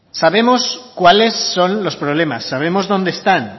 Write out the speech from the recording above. sabemos cuáles son los problemas sabemos dónde están